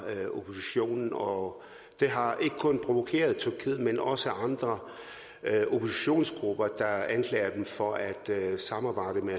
oppositionen og det har ikke kun provokeret tyrkiet men også andre oppositionsgrupper der anklager dem for at samarbejde med